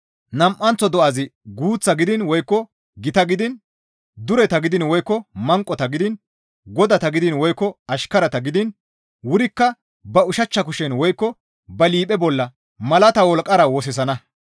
Nam7anththo do7azi guuththata gidiin woykko gitata gidiin, dureta gidiin woykko manqota gidiin, godata gidiin, woykko ashkarata gidiin, wurikka ba ushachcha kushen woykko ba liiphe bolla malata wolqqara woththisana.